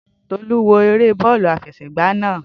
Tolú wo eré bọ́ọ̀lù àfẹsẹ̀gba náà